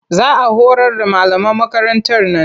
Za a horar da malaman makarantar nan